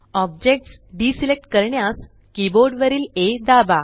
objects deselect करण्यास keyboard वरील आ दाबा